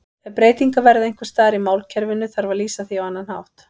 Ef breytingar verða einhvers staðar í málkerfinu þarf að lýsa því á annan hátt.